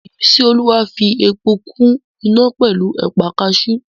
Ìmísíolúwa fi epo kún iná pẹ̀lú ẹ̀pà kaasú